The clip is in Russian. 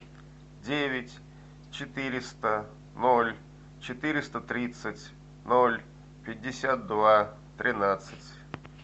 девять четыреста ноль четыреста тридцать ноль пятьдесят два тринадцать